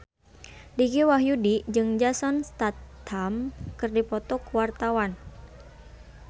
Dicky Wahyudi jeung Jason Statham keur dipoto ku wartawan